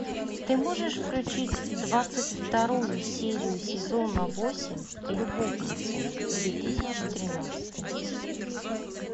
ты можешь включить двадцать вторую серию сезона восемь любовницы две тысячи тринадцатый